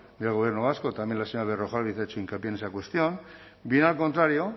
del gobierno vasco también la señora berrojalbiz ha hecho hincapié en esa cuestión bien al contrario